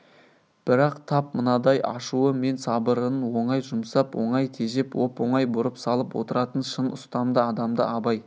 бірақ тап мынадай ашуы мен сабырын оңай жұмсап оңай тежеп оп-оңай бұрып салып отыратын шын ұстамды адамды абай